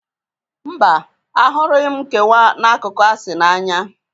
Mba, ahụrụghi m nkewa n'akụkụ asị na Anya.